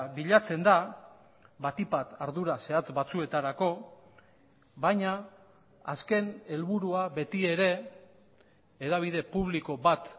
bilatzen da batik bat ardura zehatz batzuetarako baina azken helburua beti ere hedabide publiko bat